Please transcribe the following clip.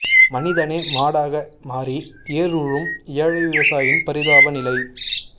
மனிதனே மாடாக மாறி ஏர் உழும் ஏழை விவசாயின் பரிதாப நிலை